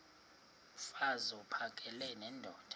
mfaz uphakele nendoda